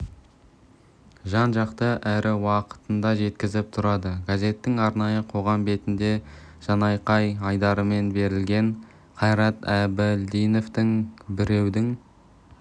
жан-жақты әрі уақытында жеткізіп тұрады газеттің арнайы қоғам бетінде жанайқай айдарымен берілген қайрат әбілдиновтің біреудің